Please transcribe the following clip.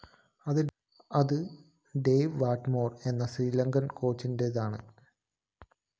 അത് Dave Whatmore‍ എന്ന Sri Lankan‍ കോച്ചിന്റേതാണ്